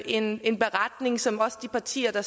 en en beretning som også de partier der